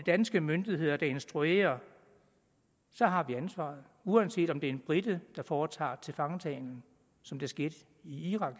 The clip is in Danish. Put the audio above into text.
danske myndigheder instruerer … så har vi ansvaret uanset om det er en brite der foretager tilfangetagelsen som det skete i irak og